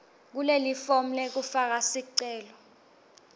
kulelifomu lekufaka sicelo